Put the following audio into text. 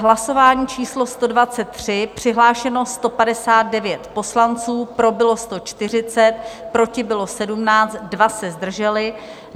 Hlasování číslo 123, přihlášeno 159 poslanců, pro bylo 140, proti bylo 17, dva se zdrželi.